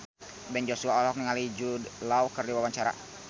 Ben Joshua olohok ningali Jude Law keur diwawancara